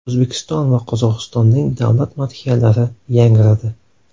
O‘zbekiston va Qozog‘istonning davlat madhiyalari yangradi.